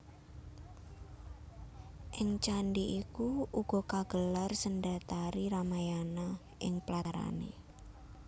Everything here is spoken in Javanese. Ing candhi iku uga kagelar sendratari Ramayana ing platarané